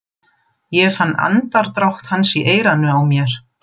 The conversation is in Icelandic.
Ég fann andardrátt hans í eyranu á mér.